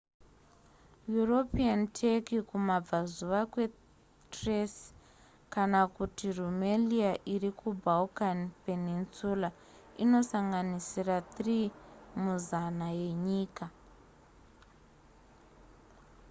european turkey kumabvazuva kwethrace kana kuti rumelia iri kubalkan peninsula inosanganisira 3 muzana yenyika